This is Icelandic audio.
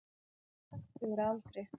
Hann var sextugur að aldri